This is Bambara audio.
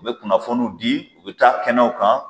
U bɛ kunnafoniw di u bɛ t'a kɛnɛw kan.